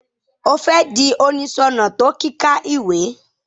O fẹ di oniṣọnà to kika ìwé?